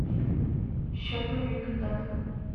счет мобильных данных